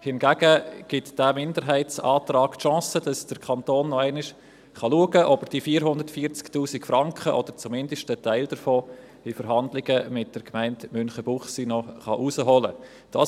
Hingegen bietet der Minderheitsantrag die Chance, dass der Kanton noch einmal schauen kann, ob er 440’000 Franken, oder zumindest einen Teil davon, in Verhandlungen mit der Gemeinde Münchenbuchsee herausholen kann.